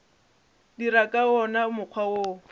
dira ka wona mokgwa wo